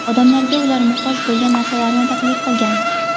Odamlarga ular muhtoj bo‘lgan narsalarni taklif qilgan.